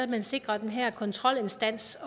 man sikrer at den her kontrolinstans